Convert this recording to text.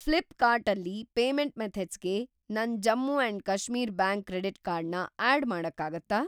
ಫ್ಲಿಪ್‌ಕಾರ್ಟ್ ಅಲ್ಲಿ ಪೇಮೆಂಟ್‌ ಮೆಥಡ್ಸ್‌ಗೆ ನನ್‌ Jammu and Kashmir bank credit card ನ ಆಡ್‌ ಮಾಡಕ್ಕಾಗತ್ತಾ?